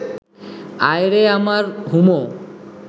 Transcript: আয় রে আমার হুমো